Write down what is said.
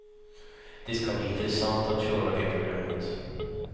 Det ska bli intressant att köra det programmet.